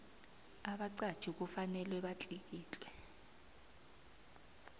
abaqatjhi kufanele batlikitle